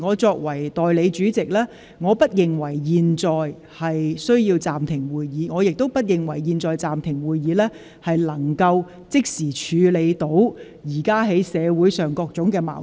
作為代理主席，我不認為現在有需要暫停會議，亦不認為現在暫停會議有助即時處理社會上的各種矛盾。